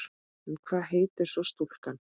En hvað heitir svo stúlkan?